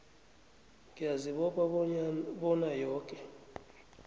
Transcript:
ngiyazibopha bona yoke